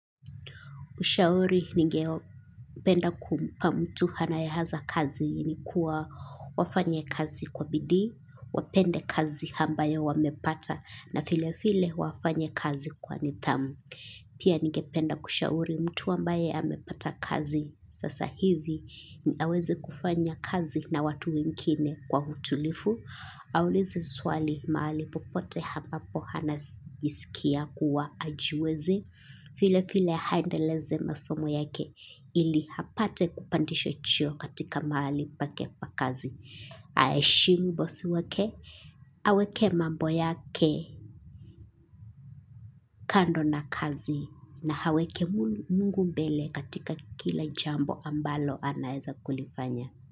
Kushauri ningeo penda kumpa mtu anaye anza kazi ni kuwa wafanye kazi kwa bidii, wapende kazi ambayo wamepata na vile vile wafanya kazi kwa nidhamu. Pia ningependa kushauri mtu ambaye amepata kazi. Sasa hivi ni aweze kufanya kazi na watu wengine kwa utulifu. Aulize swali mahali popote hampapo hana jisikia kuwa hajowezi. Vile vile aendeleze masomo yake ili apate kupandishwa cheo katika mahali pake pa kazi. Aheshimu bosi wake aweke mambo yake kando na kazi na aweke mungu mbele katika kila jambo ambalo anaweza kulifanya.